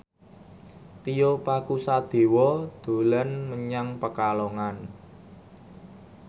Tio Pakusadewo dolan menyang Pekalongan